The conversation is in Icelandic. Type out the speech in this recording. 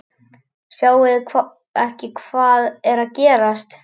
Sjáið þið ekki hvað er að gerast!